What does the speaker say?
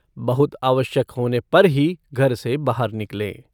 बहुत आवश्यक होने पर ही घर से बाहर निकलें।